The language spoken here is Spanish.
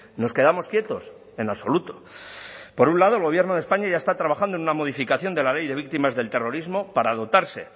nos quedamos quietos en absoluto por un lado el gobierno de españa ya está trabajando en una modificación de la ley de víctimas del terrorismo para dotarse